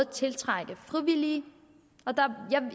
tiltrække frivillige